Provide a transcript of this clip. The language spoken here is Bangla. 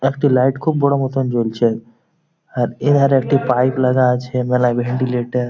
একটি লাইট খুব বড় মতন জ্বলছে আর এইখানে একটি পাইপ লাগা আছে ভেন্টিলেটর ।